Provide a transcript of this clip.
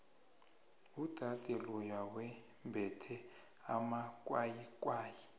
udade loya wembethe amakwayikwayi